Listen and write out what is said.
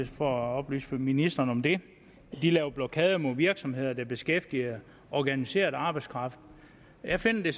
for at oplyse ministeren om det laver blokader mod virksomheder der beskæftiger organiseret arbejdskraft jeg finder det